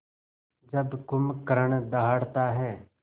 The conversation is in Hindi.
जब कुंभकर्ण दहाड़ता है